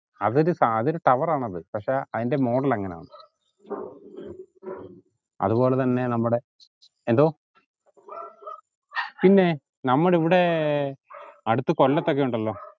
അതൊരു സാ അതൊരു tower ആണത് പക്ഷേ അയിന്റെ model അങ്ങനാന്ന് അതുപോലതന്നെ നമ്മുടെ എന്തോ പിന്നെ നമ്മുടിവിടെ അടുത്ത് കൊല്ലത്തൊക്കെ ഇണ്ടല്ലോ